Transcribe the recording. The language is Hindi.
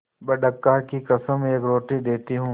बड़का की कसम एक रोटी देती हूँ